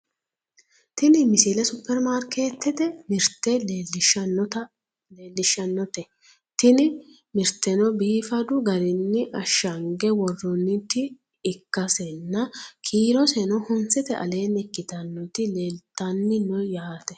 tini msile supperimarkeetete mirte leellishshannote tini mirteno biifadu garinni ashshange worroonnit ikkasenna kiiroseno honsete aleenni ikitannoti leeltanni no yaate .